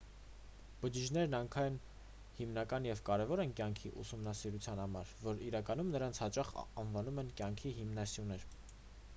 բջիջներն այնքան հիմնական և կարևոր են կյանքի ուսումնասիրության համար որ իրականում դրանց հաճախ անվանում են կյանքի հիմնասյուներ